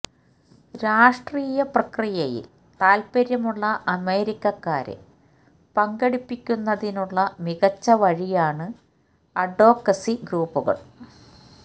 രാഷ്ട്രീയ പ്രക്രിയയിൽ താൽപര്യമുള്ള അമേരിക്കക്കാരെ പങ്കെടുപ്പിക്കുന്നതിനുള്ള മികച്ച വഴിയാണ് അഡ്വോക്കസി ഗ്രൂപ്പുകൾ